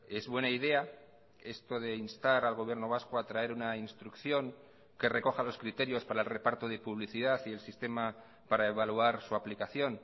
es buena idea esto de instar al gobierno vasco a traer una instrucción que recoja los criterios para el reparto de publicidad y el sistema para evaluar su aplicación